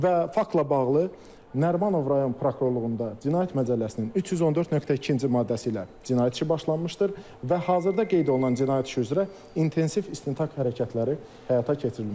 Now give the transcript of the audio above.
Və faktla bağlı Nərimanov rayon prokurorluğunda Cinayət Məcəlləsinin 314.2-ci maddəsi ilə cinayət işi başlanmışdır və hazırda qeyd olunan cinayət işi üzrə intensiv istintaq hərəkətləri həyata keçirilməkdədir.